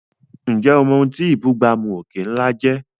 Ǹjẹ́ o mọ̀ ohun tí ìbúgbàmù òkè ńlá jẹ́?